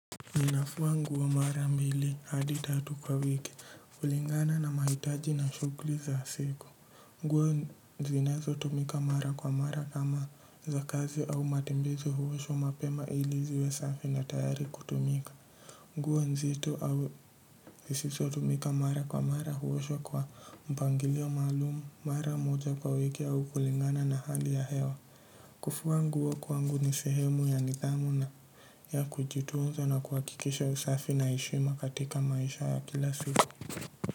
Ninafua nguo mara mbili hadi tatu kwa wiki kulingana na mahitaji na shughuli za siku. Nguo zinazo tumika mara kwa mara kama za kazi au matembezi huoshwa mapema ili ziwe safi na tayari kutumika. Nguo nzito au zisizo tumika mara kwa mara huoshwa kwa mpangilio maalum mara moja kwa wiki au kulingana na hali ya hewa. Kufua nguo kwangu ni sehemu ya nidhamu na ya kujitunza na kuhakikisha usafi na heshima katika maisha ya kila siku.